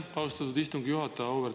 Aitäh, austatud istungi juhataja!